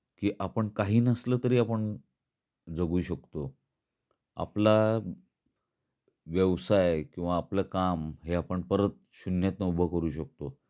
की आपण काही नसल तरी आपण जगू शकतो. आपला व्यवसाय किंवा आपल काम हे आपण परत शून्यातन उभ करू शकतो.